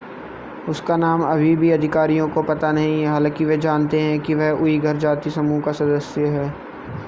उसका नाम अभी भी अधिकारियों को पता नहीं है हालांकि वे जानते हैं कि वह उइघर जातीय समूह का सदस्य है